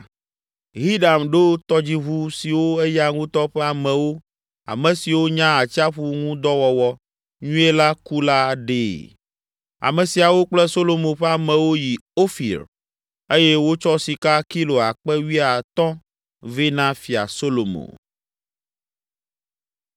Hiram ɖo tɔdziʋu siwo eya ŋutɔ ƒe amewo, ame siwo nya atsiaƒu ŋu dɔ wɔwɔ nyuie la ku la ɖee. Ame siawo kple Solomo ƒe amewo yi Ofir eye wotsɔ sika kilo akpe wuiatɔ̃ vɛ na Fia Solomo.